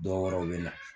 Dɔw wɛrɛ u bɛ na